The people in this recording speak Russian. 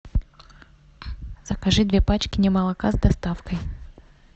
закажи две пачки немолока с доставкой